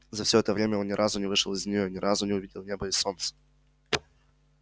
за все это время он ни разу не вышел из нее ни разу не увидел неба и солнца